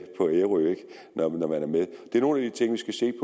på ærø det er nogle af de ting vi skal se